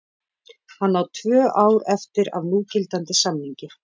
Hann á tvö ár eftir af núgildandi samningi.